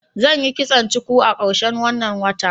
zan Yi kitson cuku a karshen wanna wata.